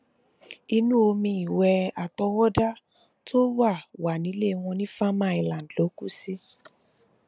inú omi ìwé àtọwọdá tó wà wà nílẹ wọn ní farmer island ló kù sí